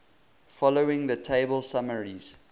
following table summarizes